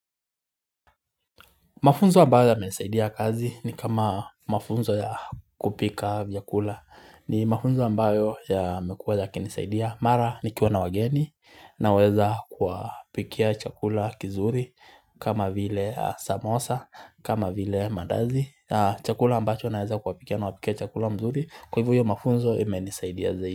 Mafunzo ambayo yamenisaidia kazi ni kama mafunzo ya kupika vyakula ni mafunzo ambayo yamekuwa yakinisaidia. Mara nikiwa na wageni naweza kuwapikia chakula kizuri kama vile samosa kama vile maandazi. Chakula ambacho naweza kuwapikia na wapikia chakula mzuri kwa hivyo mafunzo imenisaidia zaidi.